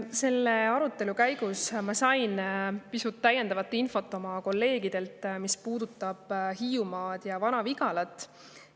Selle arutelu ajal ma sain oma kolleegidelt pisut täiendavat infot, mis puudutab Hiiumaad ja Vana-Vigalat.